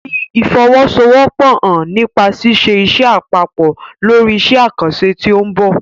Fi ìfọwọ́sowọ́pọ̀ hàn nípa ṣíṣe iṣẹ́ papọ̀ lórí iṣẹ́ àkànṣe tí ó ń bọ̀.